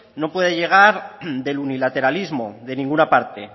no puede llegar del unilateralismo de ninguna parte